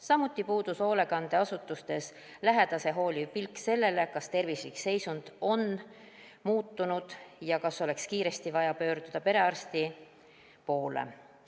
Samuti puudus hoolekandeasutustes lähedase hooliv pilk sellele, kas tervislik seisund on muutunud ja kas oleks kiiresti vaja pöörduda perearsti poole.